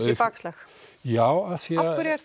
bakslag já af hverju er